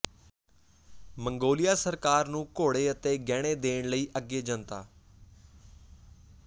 Mongolia ਸਰਕਾਰ ਨੂੰ ਘੋੜੇ ਤੇ ਗਹਿਣੇ ਦੇਣ ਲਈ ਅੱਗੇ ਜਨਤਾ